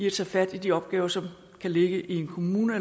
at tage fat i de opgaver som kan ligge i en kommune